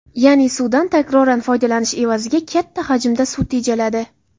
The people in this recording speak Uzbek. Ya’ni, suvdan takroran foydalanish evaziga katta hajmda suv tejaladi.